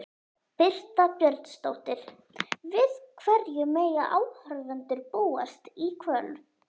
Birta Björnsdóttir: Við hverju mega áhorfendur búast í kvöld?